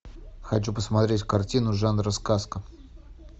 хочу посмотреть картину жанра сказка